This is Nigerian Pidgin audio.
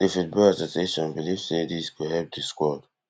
di football association believe say dis go help di squad